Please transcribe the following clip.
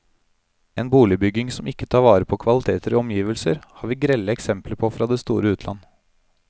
En boligbygging som ikke tar vare på kvaliteter i omgivelser, har vi grelle eksempler på fra det store utland.